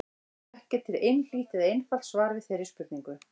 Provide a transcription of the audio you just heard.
Ekki er til einhlítt eða einfalt svar við þeirri spurningu.